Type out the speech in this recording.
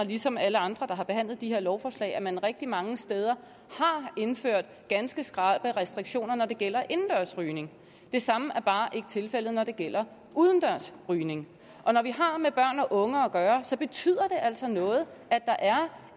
ligesom alle andre der har behandlet de her lovforslag at man rigtig mange steder har indført ganske skrappe restriktioner når det gælder indendørs rygning det samme er bare ikke tilfældet når det gælder udendørs rygning og når vi har med børn og unge at gøre så betyder det altså noget at der er